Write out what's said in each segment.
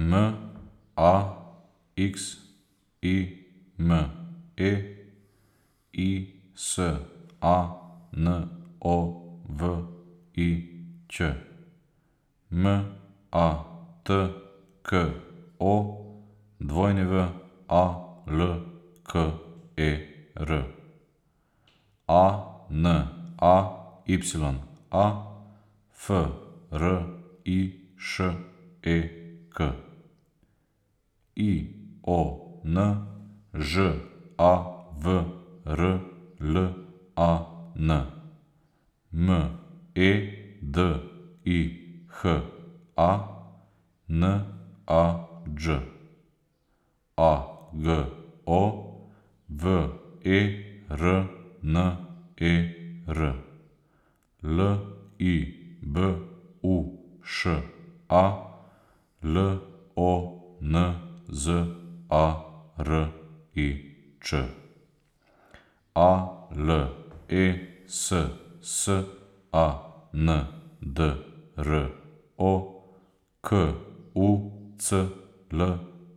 M A X I M E, I S A N O V I Ć; M A T K O, W A L K E R; A N A Y A, F R I Š E K; I O N, Ž A V R L A N; M E D I H A, N A Đ; A G O, V E R N E R; L I B U Š A, L O N Z A R I Č; A L E S S A N D R O, K U C L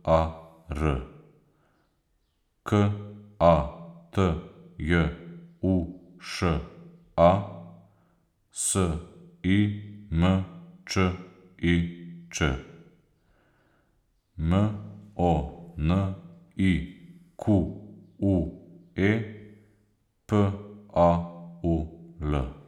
A R; K A T J U Š A, S I M Č I Č; M O N I Q U E, P A U L.